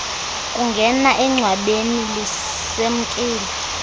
kungena engcwabeni lisemkile